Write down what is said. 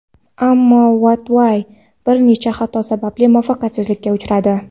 Ammo Wattway bir nechta xato sababli muvaffaqiyatsizlikka uchradi.